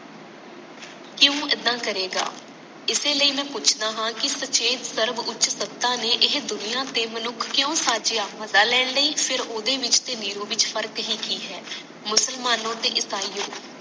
ਕਯੋਂ ਏਦਾਂ ਕਰੇਗਾ ਇਸੇ ਲਈ ਮੈਂ ਪੁੱਛਦਾ ਹਾਂ ਕਿ ਸਚੇਤ ਸਰਵੋੱਚ ਸਤਾ ਨੇ ਇਹ ਦੁਨੀਆਂ ਤੇ ਮਨੁੱਖ ਕਯੋ ਸਾਜੀਆ ਮਜਾ ਲੈਣ ਲਈ ਫੇਰ ਉਦੇ ਵਿੱਚ ਤੇ ਨਿਰੋ ਵਿੱਚ ਫਰਕ ਹੀ ਕਿ ਹੈ ਮੁਸਲਮਾਨੋ ਤੇ ਇਸਾਇਓਂ